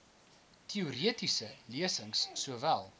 teoretiese lesings sowel